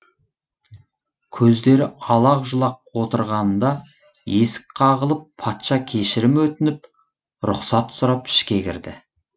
көздері алақ жұлақ отырғанында есік қағылып патша кешірім өтініп рұқсат сұрап ішке кірді